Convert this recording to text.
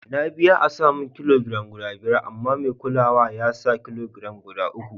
Na biya a'sa mun ƙilogiram guda biyar amma mai kulawa ya sa ƙilogiram guda uku.